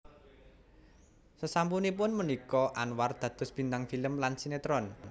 Sasampunipun punika Anwar dados bintang film lan sinetron